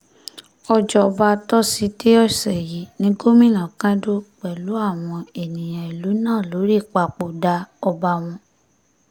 òjọba tosidee ọ̀sẹ̀ yìí ní gómìnà kẹ́dùn pẹ̀lú àwọn ènìyàn ìlú náà lórí ìpapòdà ọba wọn